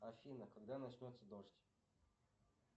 афина когда начнется дождь